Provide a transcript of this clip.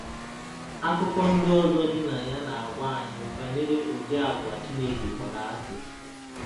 Akụkọ ndị ọzọ dị na ya na - agwa anyị banyere udi àgwà Chineke kpọrọ asị.